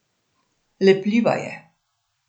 Lepljiva je.